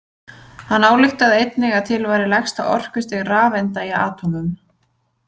Hann ályktaði einnig að til væri lægsta orkustig rafeinda í atómum.